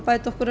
okkur